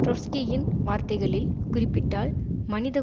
ட்ரொட்ஸ்கியின் வார்த்தைகளில் குறிப்பிட்டால் மனித